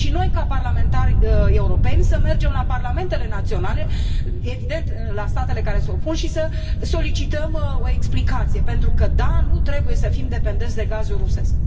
Și noi, ca parlamentari europeni, să mergem la parlamentele naționale, evident, la statele care se opun, și să solicităm o explicație pentru că da, nu trebuie să fim dependenți de gazul rusesc.